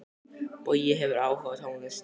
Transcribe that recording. Bogi hefur áhuga á tónlist.